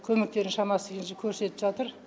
көмектерін шамасы келгенше көрсетіп жатыр